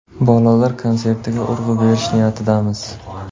Bolalar konsertiga urg‘u berish niyatidamiz.